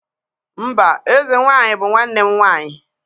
mba eze nwanyi bu nwanne m nwanyi